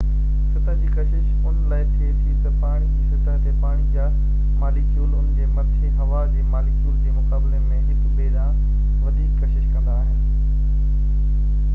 سطح جي ڪشش ان لاءِ ٿئي ٿي تہ پاڻي جي سطح تي پاڻي جا ماليڪيول انهن جي مٿي هوا جي ماليڪيولن جي مقابلي ۾ هڪ ٻئي ڏانهن وڌيڪ ڪشش ڪندا آهن